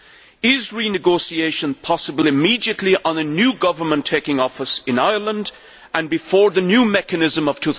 Firstly, is renegotiation possible immediately on a new government taking office in Ireland and before the new mechanism of